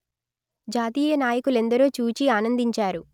జాతీయ నాయకులెందరో చూచి ఆనందించారు